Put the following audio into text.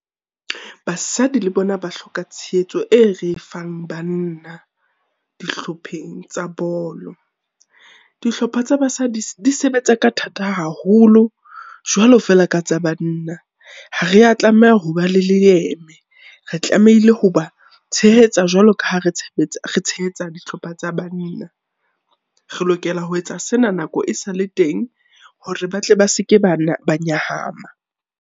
Basadi le bona ba hloka tshehetso e re e fang banna dihlopheng tsa bolo. Dihlopha tsa basadi di sebetsa ka thata haholo jwalo feela ka tsa banna. Ha rea tlameha hoba le leeme, re tlamehile ho ba tshehetsa jwalo ka ha re tshehetsa dihlopha tsa banna. Re lokela ho etsa sena nako e sale teng, hore ba tle ba seke ba ba nyahama.